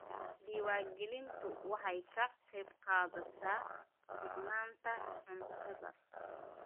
Diiwaangelintu waxay ka qaybqaadataa sugnaanta cuntada.